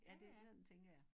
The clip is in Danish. Ja det sådan tænker jeg